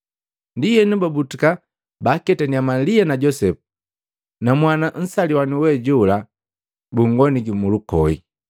Ndienu babutuka, baaketannya Malia na Josepu na mwana nsaliwanu we jola bunngoniki mulukoi.